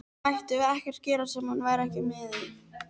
Mættum við ekkert gera sem hann væri ekki með í?